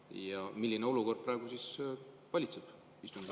Ja milline olukord praegu valitseb?